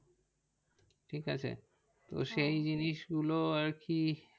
ঠিক আছে তো সেই জিনিসগুলো আর কি